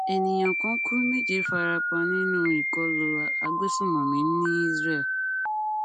ènìyàn kan kú méje farapa nínú ìkọlù agbesùnmọmí ní israel